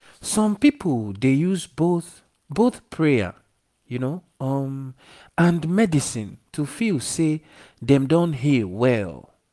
some people dey use both both prayer um and medicine to feel say dem don heal well